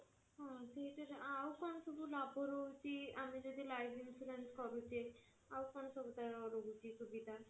ହଁ ତ ସେଇଥିରେ ଆଉ କଣ ସବୁ ଲାଭ ରହୁଛି ଆମେ ଯଦି life insurance କରୁଛେ ଆଉ କଣ ସବୁ ତାର ରହୁଛି ସୁବିଧା?